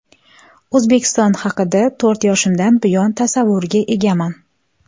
O‘zbekiston haqida to‘rt yoshimdan buyon tasavvurga egaman.